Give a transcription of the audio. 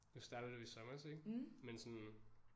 Nu startede du i sommers ik? Men sådan